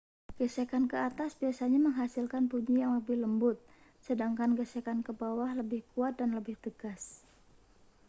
gesekan ke atas biasanya menghasilkan bunyi yang lebih lembut sedangkan gesekan ke bawah lebih kuat dan lebih tegas